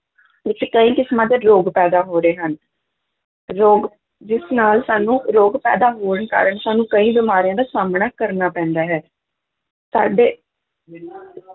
ਵਿੱਚ ਕਈ ਕਿਸਮਾਂ ਦੇ ਰੋਗ ਪੈਦਾ ਹੋ ਰਹੇ ਹਨ, ਰੋਗ ਜਿਸ ਨਾਲ ਸਾਨੂੰ ਰੋਗ ਪੈਦਾ ਹੋਣ ਕਾਰਨ ਸਾਨੂੰ ਕਈ ਬਿਮਾਰੀਆਂ ਦਾ ਸਾਹਮਣਾ ਕਰਨਾ ਪੈਂਦਾ ਹੈ, ਸਾਡੇ